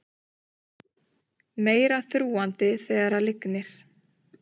Meira þrúgandi þegar lygnir